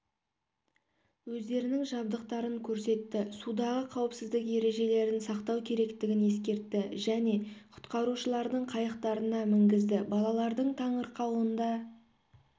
өздерінің жабдықтарын көрсетті судағы қауіпсіздік ережелерін сақтау керектігін ескертті және құтқарушылардың қайықтарына мінгізді балалардың таңырқауында